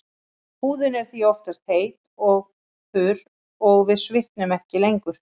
Húðin er því oftast heit og þurr og við svitnum ekki lengur.